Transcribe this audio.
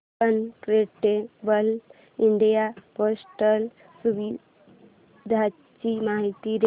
incredible India portal सुविधांची माहिती दे